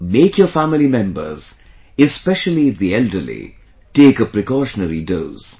Make your family members, especially the elderly, take a precautionary dose